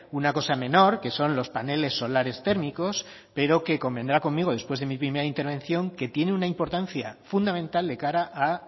una cosa menor que son los paneles solares térmicos pero convendrá conmigo después de mi primera intervención que tiene una importancia fundamental de cara a